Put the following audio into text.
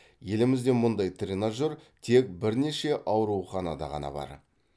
елімізде мұндай тренажер тек бірнеше ауруханада ғана бар